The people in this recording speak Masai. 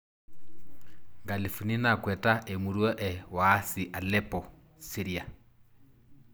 Nkalifuni nakweta emurua e Waasi Aleppo, syria.